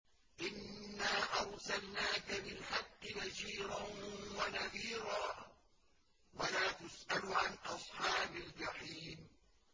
إِنَّا أَرْسَلْنَاكَ بِالْحَقِّ بَشِيرًا وَنَذِيرًا ۖ وَلَا تُسْأَلُ عَنْ أَصْحَابِ الْجَحِيمِ